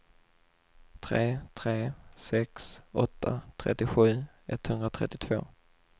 tre tre sex åtta trettiosju etthundratrettiotvå